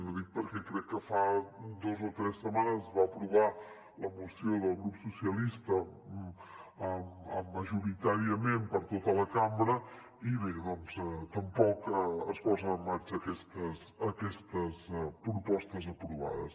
ho dic perquè crec que fa dos o tres setmanes es va aprovar la moció del grup socialistes majoritàriament per tota la cambra i bé doncs tampoc es posen en marxa aquestes propostes aprovades